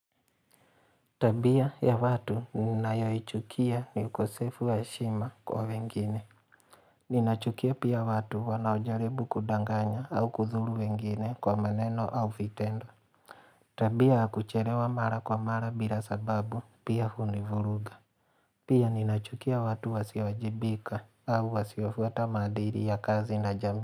Tabia ya watu ninayoichukia ni ukosefu wa heshima kwa wengine. Ninachukia pia watu wanaojaribu kudanganya au kudhuru wengine kwa maneno au vitendo. Tabia ya kuchelewa mara kwa mara bila sababu pia hunivuruga. Pia ninachukia watu wasiowajibika au wasiofuata maadili ya kazi na jambo.